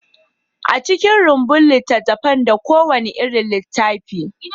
An cika rumbun littattafan da kowane irin littattafai.